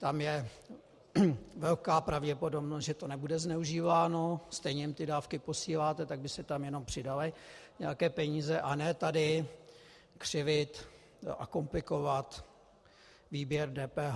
Tam je velká pravděpodobnost, že to nebude zneužíváno, stejně jim dávky posíláte, tak by se tam jen přidaly nějaké peníze, a ne tady křivit a komplikovat výběr DPH.